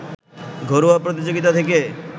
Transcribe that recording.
ঘরোয়া প্রতিযোগিতা থেকে